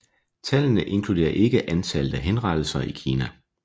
Tallene inkluderer ikke antallet af henrettelser i Kina